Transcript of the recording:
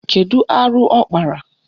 Kedu arụ ọ kpara?